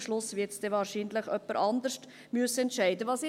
Am Schluss wird es dann wahrscheinlich jemand anderes entscheiden müssen.